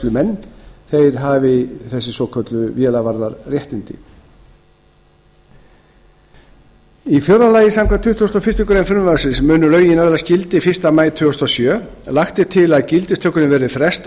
nefndir vélgæslumenn hafi þessi svokölluðu vélavarðaréttindi fjórða samkvæmt tuttugustu og fyrstu grein frumvarpsins munu lögin öðlast gildi fyrsta maí tvö þúsund og sjö lagt er til að gildistökunni verði frestað